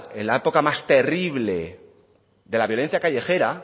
en la época más terrible de la violencia callejera